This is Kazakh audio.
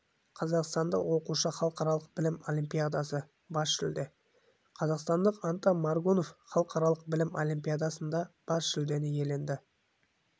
қазақстандық оқушы халықаралық білім олимпиадасы бас жүлде қазақстандық антон моргунов халықаралық білім олимпиадасында бас жүлдені иеленді